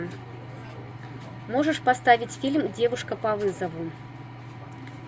можешь поставить фильм девушка по вызову